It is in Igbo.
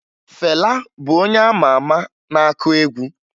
Fela bụ onye a ma ama na-akụ egwu